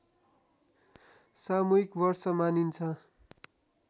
सामूहिक वर्ष मानिन्छ